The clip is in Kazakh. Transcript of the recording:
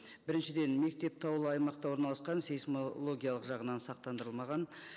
біріншіден мектеп таулы аймақта орналасқан сейсмологиялық жағынан сақтандырылмаған